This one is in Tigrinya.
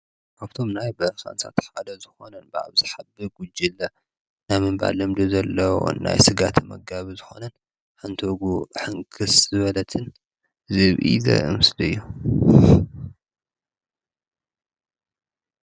ካብቶም ናይ በረካ እንስሳታት ሓደ ዝኾነን ብኣብዛሓ ብጕጅለ ናይ ምንባር ልምዲ ዘለዎ ናይ ስጋ ተመጋቢ ዝኾነን ሓንቲ እግሩ ሕንክስ ዝበለትን ዝብኢ ዘርኢ ምስሊ እዩ።